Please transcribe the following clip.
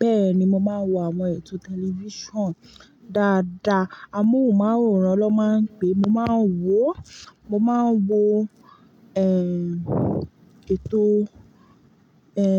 Bẹ́ẹ̀ni, mo máa ń wo àwọn ètò tẹlifíṣàn dáadáa. Amóhùnmáwòrán ló máa ń pé. Mo máa ń wò, mo máa ń wo, ẹ́, ètò, ẹ́,